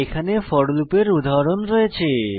এখানে ফোর লুপের উদাহরণ রয়েছে